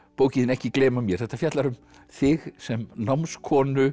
bókin þín ekki gleyma mér þetta fjallar um þig sem